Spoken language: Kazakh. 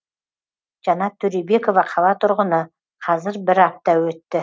жанат төребекова қала тұрғыны қазір бір апта өтті